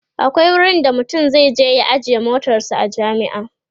akwai wurin da mutum zai je ya ajiye motarsa a jami'a